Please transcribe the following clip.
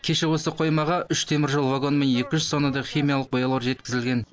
кеше осы қоймаға үш теміржол вагонымен екі жүз тоннадай химиялық бояулар жеткізілген